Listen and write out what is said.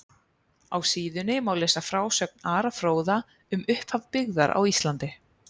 Á síðunni má lesa frásögn Ara fróða um upphaf byggðar á Íslandi.